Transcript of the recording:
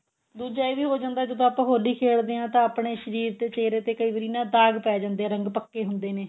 ਦੁੱਜਾ ਇਹ ਵੀ ਹੋ ਜਾਂਦਾ ਜਦੋਂ ਆਪਾਂ ਹੋਲੀ ਖੇਡਦੇ ਹਾਂ ਤਾਂ ਆਪਣੇ ਸ਼ਰੀਰ ਤੇ ਚਹੀਰੇ ਤੇ ਦਾਗ ਪੈ ਜਾਂਦੇ ਰੰਗ ਪੱਕੇ ਹੁੰਦੇ ਨੇ